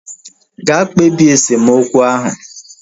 Ga kpebie esemokwu ahu!